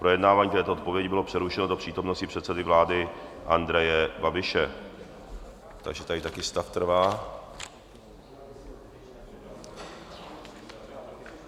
Projednávání této odpovědi bylo přerušeno do přítomnosti předsedy vlády Andreje Babiše, takže tady také stav trvá.